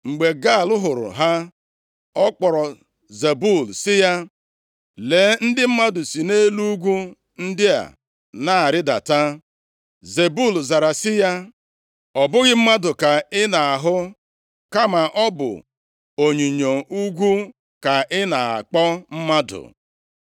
Mgbe Gaal hụrụ ha, ọ kpọrọ Zebul si ya, “Lee ndị mmadụ sị nʼelu ugwu ndị a na-arịdata.” Zebul zara si ya, “Ọ bụghị mmadụ ka ị na-ahụ, kama ọ bụ onyinyo ugwu ka ị na-akpọ mmadụ.”